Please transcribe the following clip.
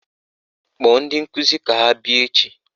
Kpọọ ndi nkụzi ka ha bịa echi!